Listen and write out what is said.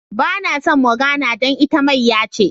Ba na son Morgana dan ita mayya ce.